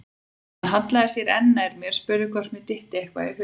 Hann hallaði sér enn nær mér, spurði hvort mér dytti eitthvað í hug.